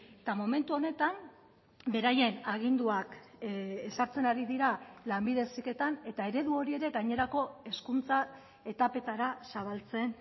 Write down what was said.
eta momentu honetan beraien aginduak ezartzen ari dira lanbide heziketan eta eredu hori ere gainerako hezkuntza etapetara zabaltzen